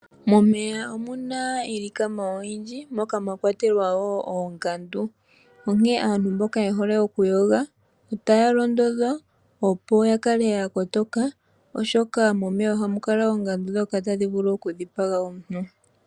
Momeya omuna iilikama oyindji moka mwakwatelwa oongandu onkene aantu mboka yehole oku yoga otaya londodhwa opo ya kale yakotoka oshoka momeya ohamu kala oongandu dhoka tadhi vulu oku dhipaga omuntu.